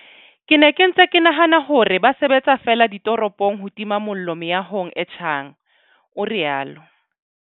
Ke ne ke ntse ke nahana hore ba sebetsa feela ditoropong ho tima mollo meahong e tjhang, o rialo.